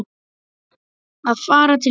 Að fara til Kína?